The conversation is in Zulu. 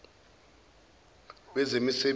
wezemisebenzi